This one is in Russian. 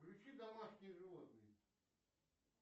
включи домашние животные